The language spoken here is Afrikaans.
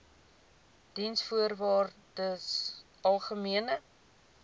diensvoorwaardesalgemene